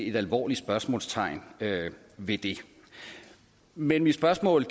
et alvorligt spørgsmålstegn ved det men mit spørgsmål